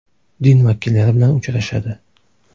Din vakillari bilan uchrashadi.